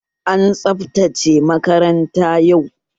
An tsabtace makarantar yau